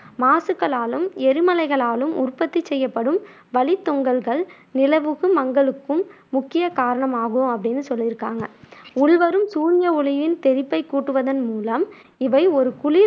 மாசுக்களாலும் எரிமலைகளாலும் உற்பத்திச் செய்யப்படும் வளித்தொங்கல்கள் நிலவுகு மங்களுக்கும் முக்கிய காரணமாகும் அப்படின்னு சொல்லிருக்காங்க. உள்வரும் சூரிய ஒளியின் தெறிப்பைக் கூட்டுவதன் மூலம் இவை ஒரு குளிர்